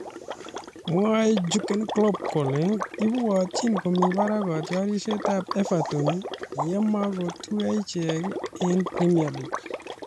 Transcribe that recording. Mwae Jurgen Klopp kole ibwatyin komi barak kotiorsetab Everton ye makotuiyo ichek eng Premier League